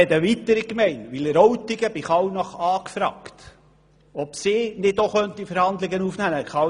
Auch Wileroltigen hat bei Kallnach angefragt, ob sie nicht auch Verhandlungen aufnehmen könnten.